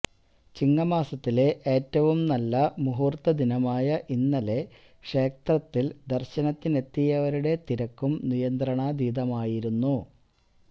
ചിങ്ങമാസത്തിലെ ഏറ്റവും നല്ല മുഹൂർത്ത ദിനമായ ഇന്നലെ ക്ഷേത്രത്തിൽ ദർശനത്തിനെത്തിയവരുടെ തിരക്കും നിയന്ത്രണാതീതമായിരുന്നു